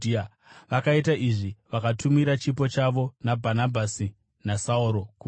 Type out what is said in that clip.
Vakaita izvi, vakatumira chipo chavo naBhanabhasi naSauro kuvakuru.